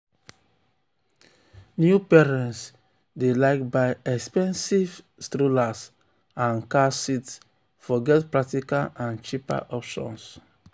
new parents dey um like buy expensive strollers um and car seats forget practical and cheaper options.